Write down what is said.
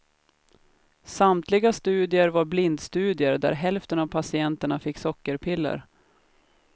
Samtliga studier var blindstudier där hälften av patienterna fick sockerpiller.